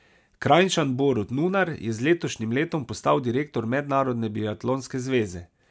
Kranjčan Borut Nunar je z letošnjim letom postal direktor Mednarodne biatlonske zveze.